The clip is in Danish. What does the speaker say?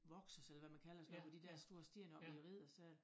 Vokset eller hvad man kalder sådan noget ved de dér store sten oppe ved æ riddersal